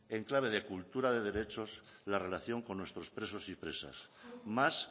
en clave de cultura de derechos la relación con nuestros presos y presas más